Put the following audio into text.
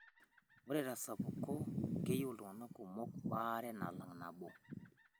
Ore tesapuko, keyieu iltung'ana kunok baare nalang' nabo.